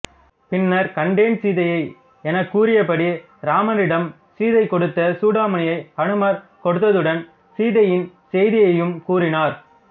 பின்னர் கண்டேன் சீதையை எனக் கூறிய படி இராமரிடம் சீதை கொடுத்த சூடாமணியை அனுமார் கொடுத்ததுடன் சீதையின் செய்தியையும் கூறினார்